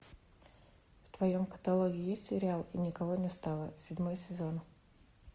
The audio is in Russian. в твоем каталоге есть сериал и никого не стало седьмой сезон